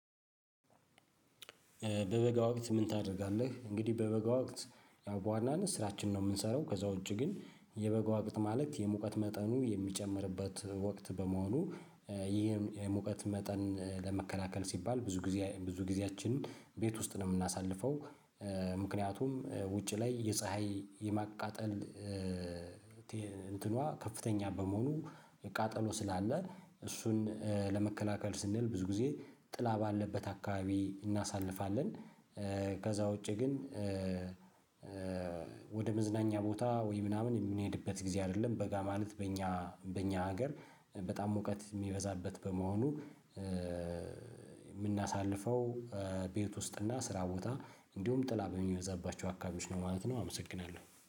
በበጋ ወቅት ምን ታደርጋለህ? እንግዲህ በበጋ ወቅት ያው በዋናነት ስራችን ነው የምንሰራው ከዛ ውጪ ግን የበጎ ወቅት ማለት የሙቀት መጠኑ የሚጨምርበት ወቅት በመሆኑ ይሄ የሙቀት ሙቀት መጠን ለመከላከል ሲባል ብዙ ጊዜ ብዙ ጊዜያችንን ቤት ውስጥ ነው የምናሳልፈው። ምክንያቱም ውጪ ላይ የፀሀይ የማቃጠል እንትኗ ከፍተኛ በመሆኑ ቃጠሎ ስላለ እሱን ለመከላከል ስንል ብዙ ጊዜ ጥላ ባለበት አካባቢ እናሳልፋለን። ከዛ ውጪ ግን ወደ መዝናኛ ቦታ ወይ ምናምን የምንሄድበት ጊዜ አይደለም። በጋ ማለት በእኛ በእኛ ሀገር በጣም ሙቀት የሚበዛበት በመሆኑ የምናሳልፈው ቤት ውስጥ እና ስራ ቦታ እንዲሁም ጥላ በሚይዛባቸው አካባቢዎች ነው ማለት ነው። አመሰግናለሁ